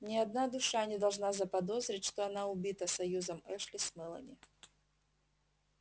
ни одна душа не должна заподозрить что она убита союзом эшли с мелани